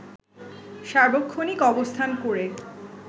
সার্বক্ষণিক অবস্থান করে